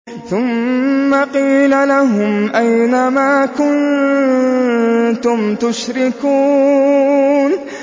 ثُمَّ قِيلَ لَهُمْ أَيْنَ مَا كُنتُمْ تُشْرِكُونَ